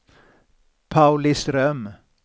Pauliström